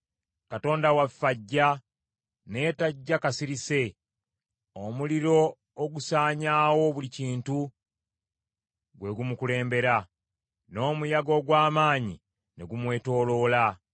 Katonda waffe ajja, naye tajja kasirise, omuliro ogusaanyaawo buli kintu gwe gumukulembera, n’omuyaga ogw’amaanyi ne gumwetooloola.